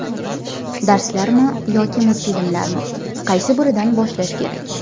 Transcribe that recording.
Darslarmi yoki multfilmlar: qaysi biridan boshlash kerak?.